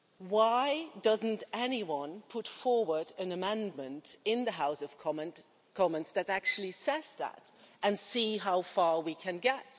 Why doesn't anyone put forward an amendment in the House of Commons that actually says that, and see how far we can get?